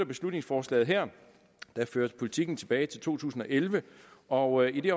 beslutningsforslaget her der fører politikken tilbage til to tusind og elleve og i